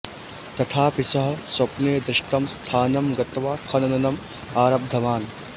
तथापि सः स्वप्ने दृष्टं स्थानं गत्वा खननम् आरब्धवान्